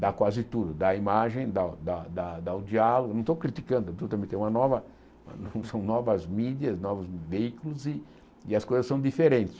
dá quase tudo, dá a imagem, dá dá dá o diálogo, não estou criticando, é uma nova são novas mídias, novos veículos e e as coisas são diferentes.